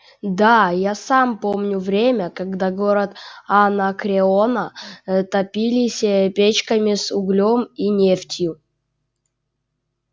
да я сам помню время когда город анакреона топились печками с углем и нефтью